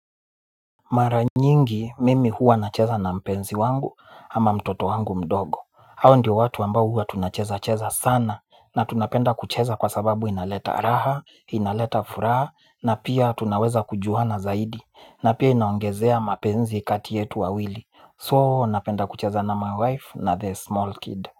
Mara nyingi mimi huwa nacheza na mpenzi wangu ama mtoto wangu mdogo. Hao ndio watu ambao huwa tunacheza cheza sana na tunapenda kucheza kwa sababu inaleta raha, inaleta furaha na pia tunaweza kujuhana zaidi na pia inaongezea mapenzi kati yetu wawili. So napenda kucheza na my wife na the small kid.